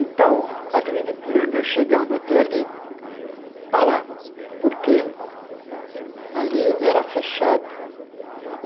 Então, Avenida Ipiranga chegava até ali, parava, porque ali era fechado.